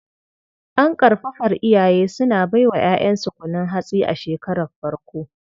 An ƙarfafar iyaye suna bai wa 'ya'yansu kunun hatsi a shekarar farko.